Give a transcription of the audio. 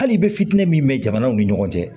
Hali bɛ fitini min kɛ jamanaw ni ɲɔgɔn cɛ